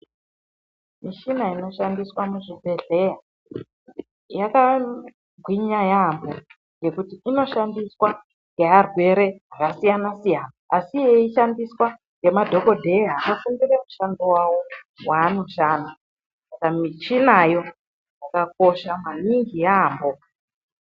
Michina inoshandiswa muzvibhehleya yakagwinya yaamho ngekuti inoshandiswa ngearwere akasiyana siyana asi yeishandiswa ngemadhokodheya akafundire mishando wawo wanoshanda. Saka michinayo yakakosha maningi yaamho.